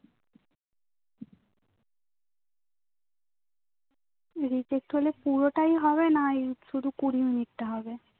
reject হলে পুরোটাই হবে না শুধু কুঁড়িমিনিট টা হবে